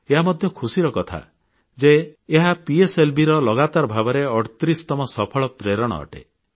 ଏହା ମଧ୍ୟ ଖୁସିର କଥା ଯେ ଏହା ପିଏସଏଲଭି ର ଲଗାତାର ଭାବରେ 38ତମ ସଫଳ ପ୍ରେରଣ ଅଟେ